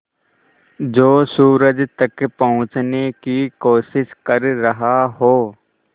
जो सूरज तक पहुँचने की कोशिश कर रहा हो